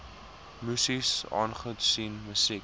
muses aangesien musiek